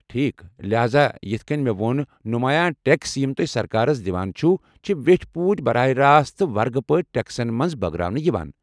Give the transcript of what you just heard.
ٹھیكھ، لہاذا یِتھ كٕنۍ مےٚ ووٚن، نُمایا ٹیكس یِم تُہۍ سركارس دِوان چھِو چھِ ویٹھۍ پٲٹھۍ براہ راست ورگہٕ پٲٹھۍ ٹیكسن منز بٲگراونہٕ یوان ۔